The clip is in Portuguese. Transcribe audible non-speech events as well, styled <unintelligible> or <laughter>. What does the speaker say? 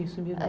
Isso <unintelligible>